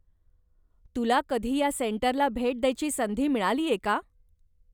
तुला कधी ह्या सेंटरला भेट द्यायची संधी मिळालीय का ?